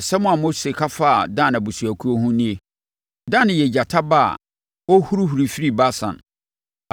Asɛm a Mose ka faa Dan abusuakuo ho nie: “Dan yɛ gyata ba a ɔrehurihuri firi Basan.”